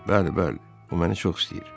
Bəli, bəli, o məni çox istəyir.